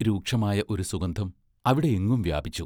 രൂക്ഷമായ ഒരു സുഗന്ധം അവിടെയെങ്ങും വ്യാപിച്ചു.